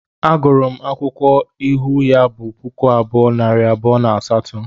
A gụrụ m akwụkwọ ịhụ ya di puku abụọ, nari abụọ na asaatọ